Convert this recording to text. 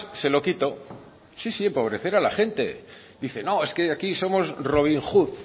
se lo quito sí sí empobrecer a la gente dice no es que aquí somos robin hood